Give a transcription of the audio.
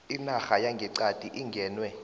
inarha yangeqadi ingenwe